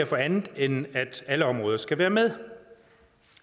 for andet end at alle områder skal være med